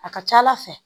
A ka ca ala fɛ